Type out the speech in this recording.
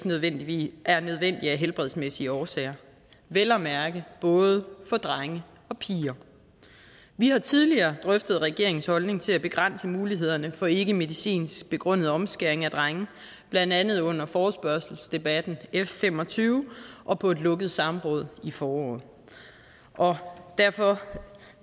nødvendig af helbredsmæssige årsager vel at mærke både for drenge og piger vi har tidligere drøftet regeringens holdning til at begrænse mulighederne for ikkemedicinsk begrundet omskæring af drenge blandt andet under forespørgselsdebatten f fem og tyve og på et lukket samråd i foråret og derfor